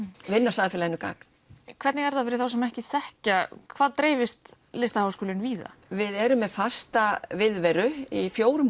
vinna samfélaginu gagn hvernig er það fyrir þá sem ekki þekkja hvað dreifist LHÍ víða við erum með fasta viðveru í fjórum